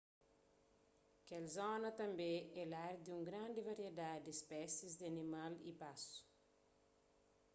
kel zona tanbê é lar di un grandi variedadi di spésis di animal y pasu